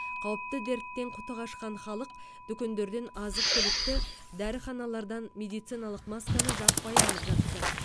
қауіпті дерттен құты қашқан халық дүкендерден азық түлікті дәріханалардан медициналық масканы жаппай алып жатты